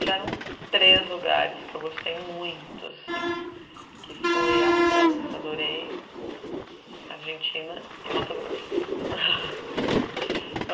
Tiveram três lugares que eu gostei muito assim, que foi a França, adorei, a Argentina e o Mato Grosso.